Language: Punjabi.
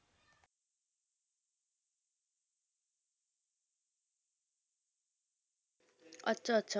ਅੱਛਾ ਅੱਛਾ।